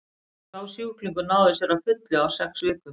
sá sjúklingur náði sér að fullu á sex vikum